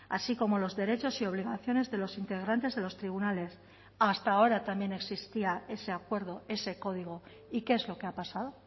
así como los derechos y obligaciones de los integrantes de los tribunales hasta ahora también existía ese acuerdo ese código y qué es lo que ha pasado